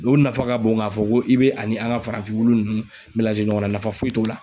O nafa ka bon k'a fɔ ko i be ani an ga farafin wulu nunnu melanze ɲɔgɔn na nafa foyi t'o la